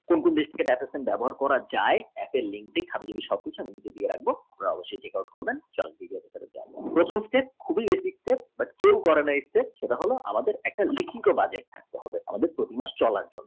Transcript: নিচ থেকে দেখাচ্ছে ব্যবহার করা যায় app এ আমি সব কিছু record অবশ্যয়ী করব